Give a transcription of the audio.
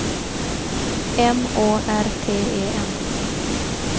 M Å R T E N